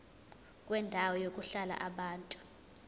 kwendawo yokuhlala yabantu